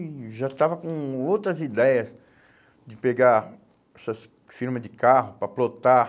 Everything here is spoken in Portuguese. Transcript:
E já estava com outras ideias de pegar essas firmas de carro para plotar.